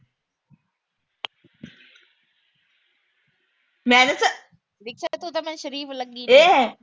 ਮੈਂ ਦੱਸਾ। ਤੂੰ ਤਾਂ ਮੈਨੂੰ ਸ਼ਰੀਫ ਲੱਗੀ।